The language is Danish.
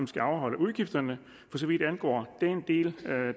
skal afholde udgifterne for så vidt angår den del